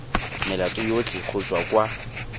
melato yotlhe go tswa kwa